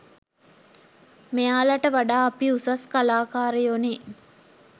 මෙයාලට වඩා අපි උසස් කලාකාරයො නේ.